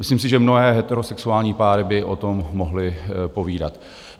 Myslím si, že mnohé heterosexuální páry by o tom mohly povídat.